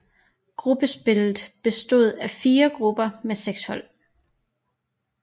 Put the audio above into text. Gruppespillet bestod af fire grupper med seks hold